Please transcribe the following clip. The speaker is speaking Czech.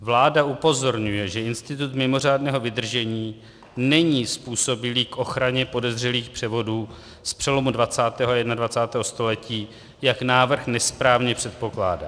Vláda upozorňuje, že institut mimořádného vydržení není způsobilý k ochraně podezřelých převodů z přelomu 20. a 21. století, jak návrh nesprávně předpokládá.